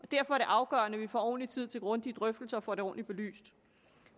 det afgørende at vi får ordentlig tid til grundige drøftelser og får det ordentligt belyst